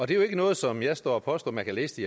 det er jo ikke noget som jeg står og påstår man kan læse